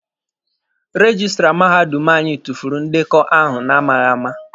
Rejistra mahadum anyị tufuru ndekọ ahụ na-amaghịama.